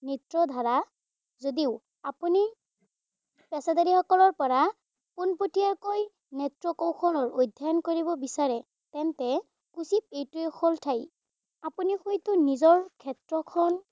নৃত্যধাৰা যদিও আপুনি পেছাদাৰীসকলৰ পৰা পোনপতীয়াকৈ নৃত্যকৌশল অধ্যয়ন কৰিব বিচাৰে, তেন্তে উচিত এইটোৱেই হল ঠাই। আপুনি হয়তো নিজৰ ক্ষেত্ৰখন